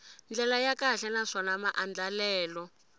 ndlela ya kahle naswona maandlalelo